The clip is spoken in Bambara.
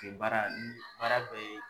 baara n baara bɛɛ ye